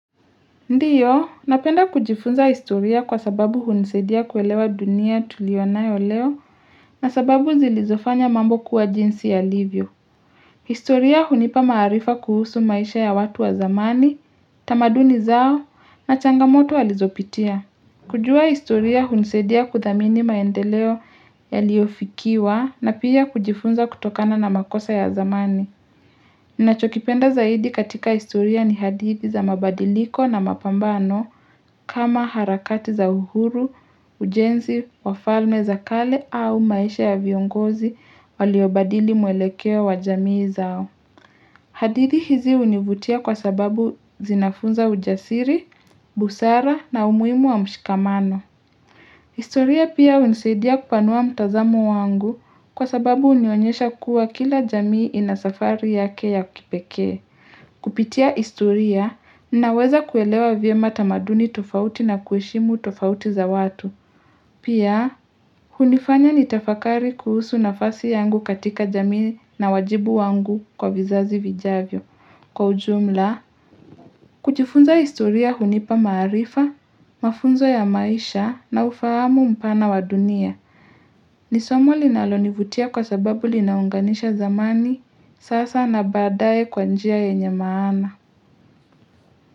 Ndiyo, napenda kujifunza historia kwa sababu hunisedia kuelewa dunia tulionayo leo na sababu zilizofanya mambo kuwa jinsi ya livyo. Historia hunipa maarifa kuhusu maisha ya watu wa zamani, tamaduni zao na changamoto walizopitia. Kujua historia hunisedia kudhamini maendeleo ya liofikiwa na pia kujifunza kutokana na makosa ya zamani. Ninachokipenda zaidi katika historia ni hadidhi za mabadiliko na mapambano. Kama harakati za uhuru, ujenzi, wa wafalme za kale au maisha ya viongozi waliobadili muelekea wa jamii zao. Hadithi hizi univutia kwa sababu zinafunza ujasiri, busara na umuimu wa mshikamano. Historia pia unisaidia kupanua mtazamo wangu kwa sababu unionyesha kuwa kila jamii inasafari yake ya kipeke. Kupitia historia, ninaweza kuelewa vyema tamaduni tofauti na kueshimu tofauti za watu Pia, hunifanya nitafakari kuhusu na fasi yangu katika jamii na wajibu wangu kwa vizazi vijavyo Kwa ujumla, kujifunza historia hunipa maarifa, mafunzo ya maisha na ufahamu mpana wa dunia Nisomo linalonivutia kwa sababu linaunganisha zamani, sasa na badaye kwanjia yenye maana.